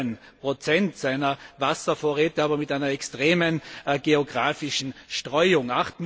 13 seiner Wasservorräte, aber mit einer extremen geographischen Streuung.